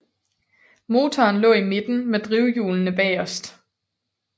Motoren lå i midten med drivhjulene bagerst